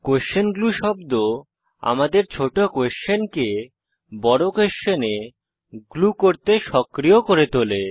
question glue শব্দ আমাদের ছোট কোস্বেনকে বড় কোস্বেনে গ্লু করতে সক্রিয় করে তোলে